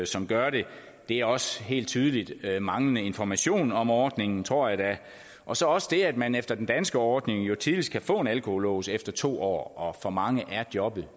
som gør det det er også helt tydeligt manglende information om ordningen tror jeg da og så også det at man efter den danske ordning jo tidligst kan få en alkolås efter to år og for mange er jobbet